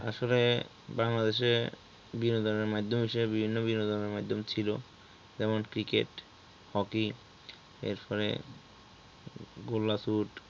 আসলে বাংলাদেশে বিনোদনের মাধ্যম হিসেবে বিভিন্ন বিনোদনের মাধ্যম ছিল, যেমন Cricket, Hockey এরপরে গোলা চুট